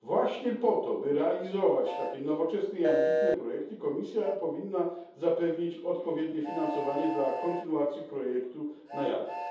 Właśnie po to, by realizować takie nowoczesne i ambitne projekty, Komisja powinna zapewnić odpowiednie finansowanie dla kontynuacji projektu NAIADES.